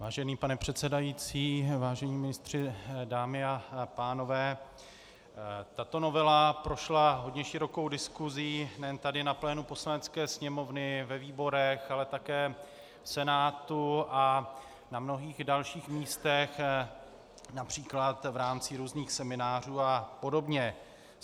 Vážený pane předsedající, vážení ministři, dámy a pánové, tato novela prošla hodně širokou diskusí nejen tady na plénu Poslanecké sněmovny, ve výborech, ale také v Senátu a na mnohých dalších místech, například v rámci různých seminářů a podobně.